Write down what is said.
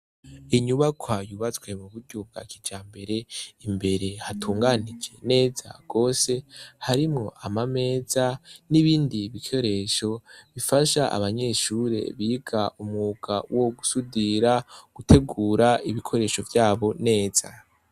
Inyubakwa yuabatswe mu buryo bwa kijambere imbere hatunganije neza gwose harimwo ama meza n'ibindi bikoresho bifasha abanyeshure biga umwuga wo gusudira gutegura ibikoresho vyabo neza.